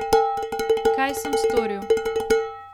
Kaj sem storil!